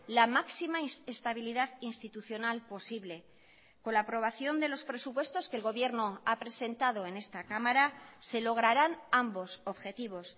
la máxima estabilidad institucional posible con la aprobación de los presupuestos que el gobierno ha presentado en esta cámara se lograrán ambos objetivos